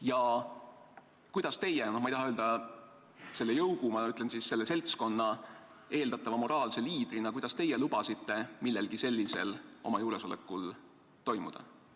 Ja kuidas teie, ma ei taha öelda, selle jõugu, ma ütlen, selle seltskonna eeldatava moraalse liidrina lubasite millelgi sellisel oma juuresolekul toimuda?